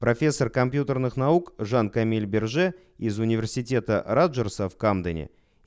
профессор компьютерных наук жан камиль берже из университета роджерса в камдене